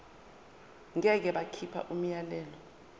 ngeke bakhipha umyalelo